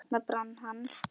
Þarna brann hann.